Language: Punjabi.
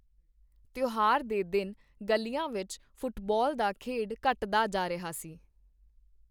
ਤਿਉਹਾਰ ਦੇ ਦਿਨ, ਗਲੀਆ ਵਿਚ ਫੁੱਟਬਾਲ ਦਾ ਖੇਡ ਘਟਦਾ ਜਾ ਰਿਹਾ ਸੀ।